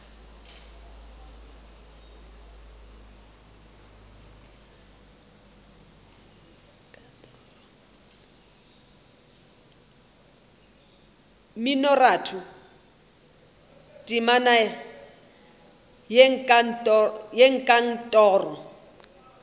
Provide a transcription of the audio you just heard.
mminoratho temana ya hei kantoro